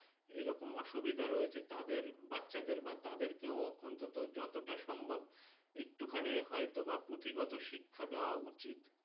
এরকম অসুবিধা রয়েছে তাদের বাচ্চাদের বা তাদেরকেও অন্তত যতটা সম্ভব একটুখানি হয়তোবা পুঁথিগত শিক্ষা দেওয়া উচিৎ